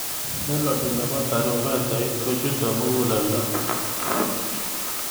melodi nepo tarumbetait kochutei mukuleldo